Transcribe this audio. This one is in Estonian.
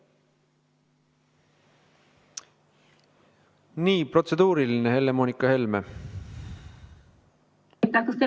Nii, protseduuriline, Helle-Moonika Helme.